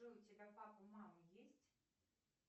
джой у тебя папа мама есть